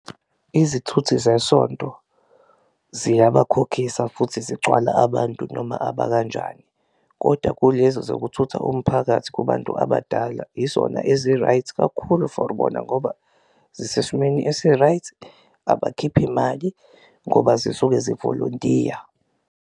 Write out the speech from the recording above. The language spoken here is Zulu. Izithuthi zesonto ziyabakhokhisa futhi zigcwala abantu noma abakanjani koda kulezi zokuthutha umphakathi kubantu abadala izona ezi-right kakhulu for bona ngoba zisesimweni esi-right, abakhiphi mali ngoba zisuke zivolontiya.